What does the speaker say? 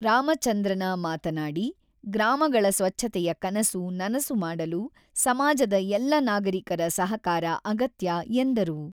ರಾಮಚಂದ್ರನ ಮಾತನಾಡಿ, "ಗ್ರಾಮಗಳ ಸ್ವಚ್ಛತೆಯ ಕನಸು ನನಸು ಮಾಡಲು ಸಮಾಜದ ಎಲ್ಲ ನಾಗರಿಕರ ಸಹಕಾರ ಅಗತ್ಯ" ಎಂದರು.